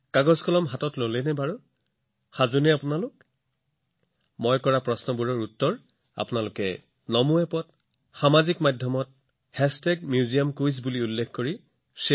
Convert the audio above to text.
মোৰ যুৱ বন্ধুসকল আপোনালোক সাজু নে আপোনালোকে হাতত কাগজ কলম লৈছেনে মই এই মুহূৰ্তত আপোনালোকক যি সুধিম আপুনি উত্তৰবোৰ নমো এপ বা ছচিয়েল মিডিয়াত MuseumQuizত ভাগ বতৰা কৰিব পাৰে আৰু এয়া নিশ্চয়কৈ কৰক